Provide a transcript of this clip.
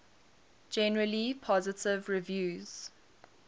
generally positive reviews